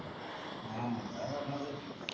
ആ അതാ പറഞ്ഞത്